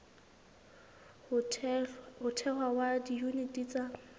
ho thehwa ha diyuniti tsa